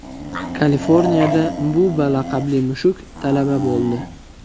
Kaliforniyada Bubba laqabli mushuk talaba bo‘ldi.